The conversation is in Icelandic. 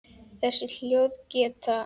Þessi hljóð geta